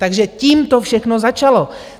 Takže tím to všechno začalo.